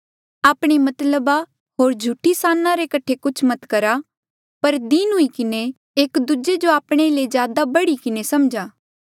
आपणे मतलब होर झूठी साना रे कठे कुछ मत करा पर दीन हुई किन्हें एक दूजे जो आपणे ले ज्यादा बढ़ी किन्हें समझा